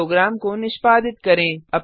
अब प्रोग्राम को निष्पादित करें